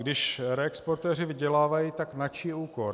Když reexportéři vydělávají, tak na čí úkor?